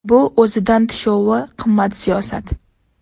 Bu o‘zidan tushovi qimmat siyosat.